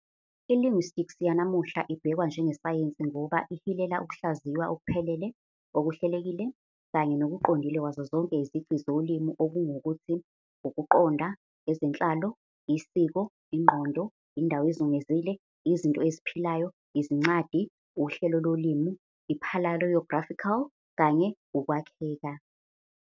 I-linguistics yanamuhla ibhekwa njengesayensi ngoba ihilela ukuhlaziywa okuphelele, okuhlelekile, kanye nokuqondile kwazo zonke izici zolimi - okungukuthi, ukuqonda, ezenhlalo, isiko, ingqondo, indawo ezungezile, izinto eziphilayo, izincwadi, uhlelo lolimi, I-paleographical, kanye ukwakheka.